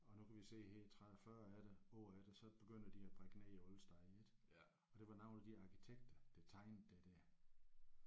Og nu kan vi se her 30 40 efter år efter så begynder de at brække ned alle steder ik og det var nogle af de arkitekter der tegnede det der